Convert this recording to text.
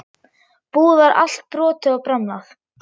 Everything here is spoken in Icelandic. Búið var allt brotið og bramlað.